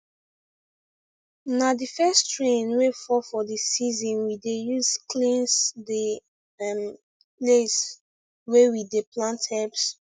na the first rain wey fall for the season we dey use cleanse the um place wey we dey plant herbs